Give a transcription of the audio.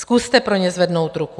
Zkuste pro ně zvednout ruku.